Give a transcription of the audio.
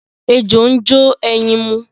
Ejò ń jó ẹyin mu.